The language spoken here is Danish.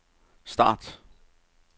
start